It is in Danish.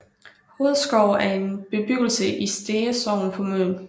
Hovedskov er en bebyggelse i Stege Sogn på Møn